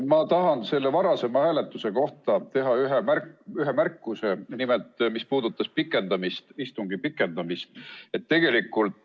Ma tahan selle varasema hääletuse kohta, mis puudutas istungi pikendamist, teha ühe märkuse.